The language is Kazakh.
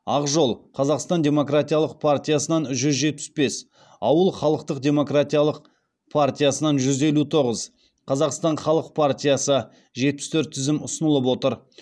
ақ жол қазақстан демократиялық партиясынан жүз жетпіс бес ауыл халықтық демократиялық партиясынан жүз елу тоғыз қазақстан халық партиясы жетпіс төрт тізім ұсынылып отыр